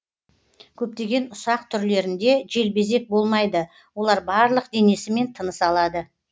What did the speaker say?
көптеген ұсақ түрлерінде желбезек болмайды олар барлық денесімен тыныс алады